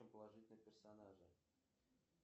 положительные персонажи